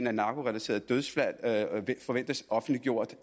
af narkorelaterede dødsfald forventes offentliggjort